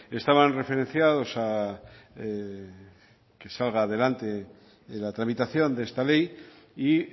estaban referenciados a que salga adelante la tramitación de esta ley y